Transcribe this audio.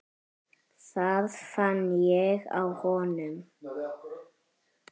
Það fann ég á honum.